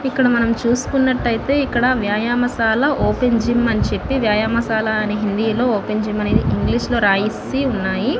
ఇక్కడ మనము చుసోకోన్నట్టు ఐతే ఇక్కడ వ్యాయమ శాల ఓపెన్ జిమ్ అని చెప్పి వ్యాయమ శాల అని హిందీ లొ ఓపెన్ జిమ్ అనేది ఇంగ్లీష్ లొ రాసి ఉన్నాయి.